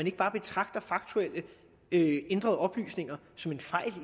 ikke bare betragter faktuelle ændrede oplysninger som en fejl